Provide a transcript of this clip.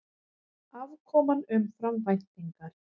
Afkoman umfram væntingar